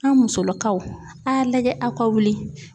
An musolakaw a' y'a lajɛ aw ka wuli